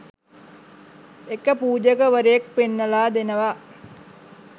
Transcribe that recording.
එක පූජකවරයෙක් පෙන්නල දෙනවා.